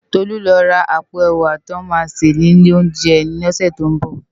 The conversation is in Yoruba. Tolu lò rá àpó èwá tiwòn má sé ni ilé óunjè yèn lòsè tó n bò